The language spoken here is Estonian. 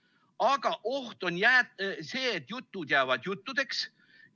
Aga oht on see, et jutud jäävad juttudeks.